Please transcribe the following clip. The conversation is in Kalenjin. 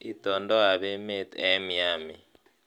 Itondoab emet eng Miami